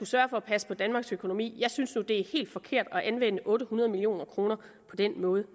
sørge for at passe på danmarks økonomi jeg synes nu at det er helt forkert at anvende otte hundrede million kroner på den måde